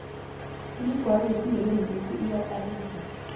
imigwalo yesindebele mihle iyakarisa